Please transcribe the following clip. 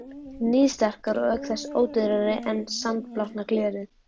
Níðsterkar og auk þess ódýrari en sandblásna glerið.